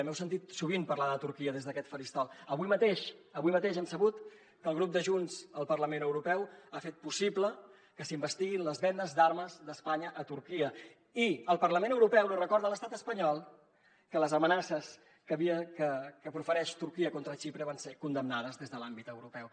m’heu sentit sovint parlar de turquia des d’aquest faristol avui mateix avui mateix hem sabut que el grup de junts al parlament europeu ha fet possible que s’investiguin les vendes d’armes d’espanya a turquia i el parlament europeu li recorda a l’estat espanyol que les amenaces que profereix turquia contra xipre van ser condemnades des de l’àmbit europeu